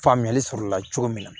Faamuyali sɔrɔ o la cogo min na